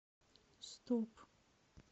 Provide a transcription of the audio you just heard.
стоп